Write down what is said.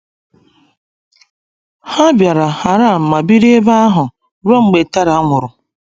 Ha bịara Haran ma biri ebe ahụ ruo mgbe Terah nwụrụ.